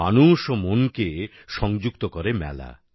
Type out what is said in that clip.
মানুষ ও মনকে সংযুক্ত করে মেলা